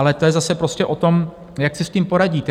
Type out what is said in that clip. Ale to je zase prostě o tom, jak si s tím poradíte.